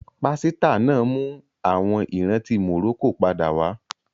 Pàsìtílà náà mú àwọn ìrántí Morocco padà wá